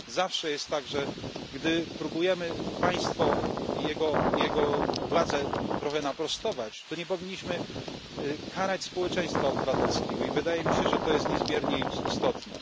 Zawsze jest tak, że gdy próbujemy państwo i jegowładzę trochę naprostować, to nie powinniśmy karać społeczeństwa obywatelskiego i wydaje mi się, że to jest niezmiernie istotne.